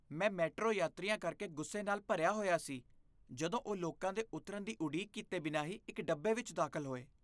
ਮੈਂ ਮੈਟਰੋ ਯਾਤਰੀਆਂ ਕਰਕੇ ਗੁੱਸੇ ਨਾਲ ਭਰਿਆ ਹੋਇਆ ਸੀ ਜਦੋਂ ਉਹ ਲੋਕਾਂ ਦੇ ਉਤਰਨ ਦੀ ਉਡੀਕ ਕੀਤੇ ਬਿਨਾਂ ਹੀ ਇੱਕ ਡੱਬੇ ਵਿੱਚ ਦਾਖਲ ਹੋਏ।